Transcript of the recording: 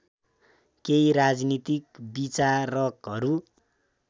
केही राजनीतिक विचारकहरू